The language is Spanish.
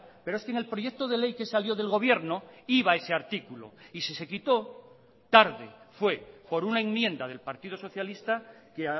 pero es que en el proyecto de ley que salió del gobierno iba ese artículo y si se quitó tarde fue por una enmienda del partido socialista que